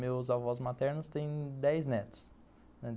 Meus avós maternos têm dez netos.